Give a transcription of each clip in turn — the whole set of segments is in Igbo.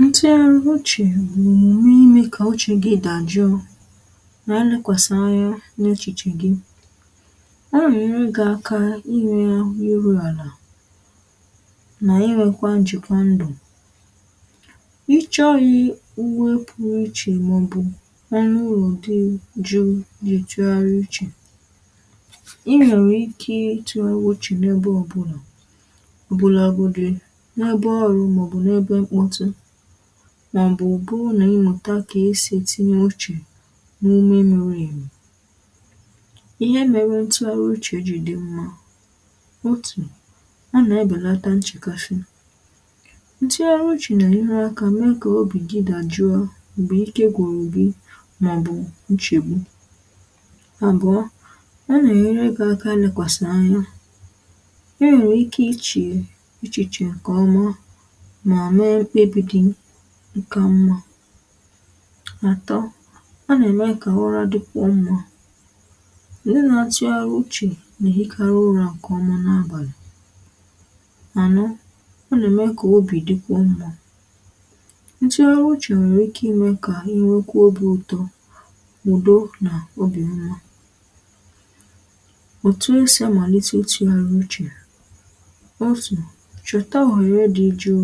ntugharị uchè ime ka uchè gi dajụọ na nlekwasi anya n’echìchè gi a nà-enyere gi aka ihu ya ahụ yiri àlà nà inwekwa njị̀kwà ndụ̀ icheọnyị̇ wepuru ichè màọbụ̀ ọnụ̇ ụlọ̀ dị jụụ nà-ntugharị uchè i nwèrè ike ịtụ̇gharị uchè n’ebe ọbụlà ọbụlàgodị n'ebe ọ̀rụ̀ maobu ebe mkpotu nà ịmụta kà e sì ètinye uchè n’ihe mirì emi ihe mėrė ǹtụaghari uchè jì dì mmȧ otù a nà-ebèlàtà nchèkàsị̀ ntụghari uchè nà-ènye aka mee kà obì gi dàjụa m̀gbè ike gwuru gì màọ̀bụ̀ nchègbu àbụ̀ọ a nà-ènyere gị̇ aka elekwàsị̀ anya inwe ike ichè echichè ǹkèọma nkà mmȧ àtọ a nà-ème kà urȧ dịkwuo mmȧ ǹdị nà-àtụgharị uchè nà-èrikari ụrȧ ǹkè ọmụa nàbàlị̀ àno ọ nà-ème kà obì dịkwa mmȧ ǹtụgharị uchè nwèrè ike imė kà inwekwa obi̇ utọ ụ̀do nà obì mmȧ ọ̀tụ esi amàlite ịtụgharị uchè otù chọ̀ta ohèrè dị jụụ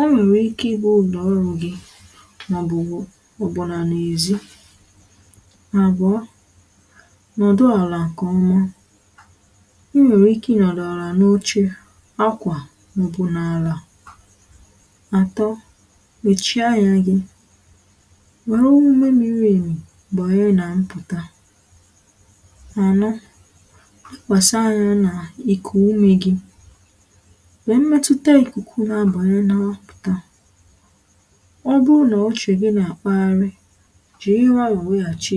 o nwèrè ike igbo ụ̀nọ̀ọrụ gị n’ọbụ̀ nà n’èzi nà àbụọ nọ̀dụ àlà nke ọma i nwèrè ike ị nọ̀dụ̀ àlà n’oche akwà n’ọbụ̀ nà àlà atọ mèchie anyȧ gị̇ wère owuwe miri èmì gbànye nà mpụ̀ta ànọ chịkwàsị anyȧ nà ìkù umė gị̇ wee metuta ikuku n'abanye n'aputa ọ bụrụ nà uchè gị nà-àkpagharị jìri ụ̀ra wee weghàchi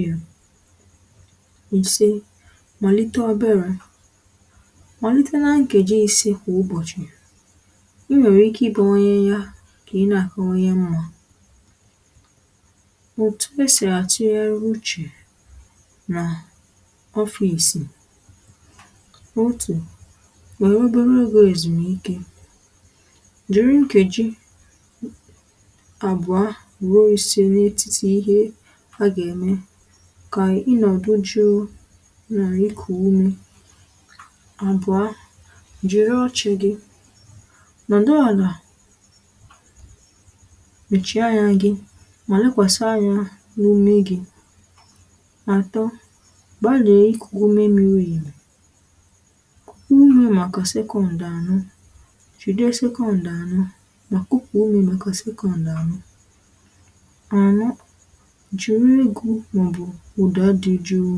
ị̀se màlite obere màlite nȧ-ǹkèji isii kwà ụbọ̀chị̀ i nwèrè ike ibawanye ya kà ị nȧgȧ onye mmȧ òtù esì atụgharị uchè nà ofisì otù nwèrè obere oge èzùmike jiri nkeji àbụ̀ a ruo isė n’etiti ihe a gà-ème kà ịnọ̀dụ jụụ nà ikù ume àbụ̀a jiri ọchị̇ gị nodu alà mèchie anyȧ gị mà lèkwàsị anyȧ n’ume gị̇ nà-àtọ gbalia ikù ume miri màkà sekọ̇ndụ̀ ano jide secondu ano anọ jìri egȯ màọbụ̀ ụ̀dà dị jụụ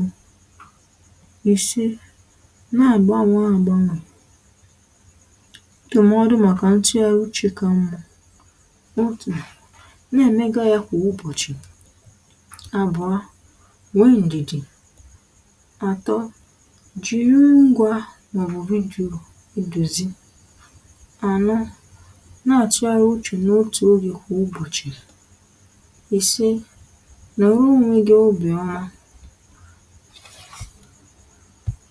ise na-àgbanwe àgbanwè ntọ̀mọdụ màkà ntìarụchìka mmȧ otù na-ème ga ya kwa ụbọ̀chì abụọ nwee ndi̇dì atọ jìri ngwa màọbụ̀ vidiyo idùzi ano n'atụgharị n’otù olu kwà ụbọ̀chị̀ ise nwere onwe gi ọbụi ọma